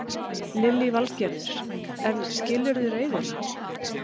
Lillý Valgerður: En skilurðu reiðina?